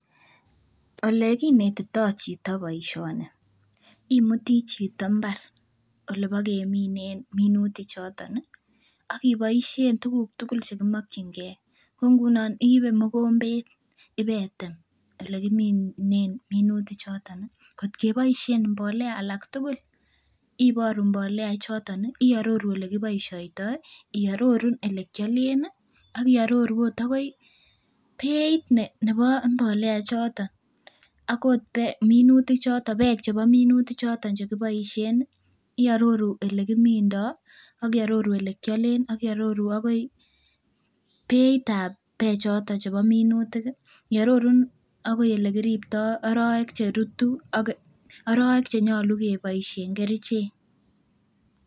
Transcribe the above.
Olekinetitoo chito boisioni, imutii chito mbar olebokeminen minutik choton ih ak iboisien tuguk tugul chekimokyingee ko ngunon iibe mogombet ibetem elekiminen minutik choton ih kot keboisien mbolea alak tugul iboru mbolea ichoton ih iororu elekiboisiotoo, iororu elekiolen ih ak iororu ot akoi beit nebo mbolea ichoton akot minutik bek chebo minutik choton chekiboisien ih iororu elekimindoo ak iororu elekiolen ak iororu akoi beitab bek choton chebo minutik ih arorun akoi elekiriptoo arowek cherutu ak arowek chenyolu keboisien kerichek